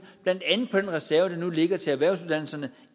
blandt andet på den reserve der nu ligger til erhvervsuddannelserne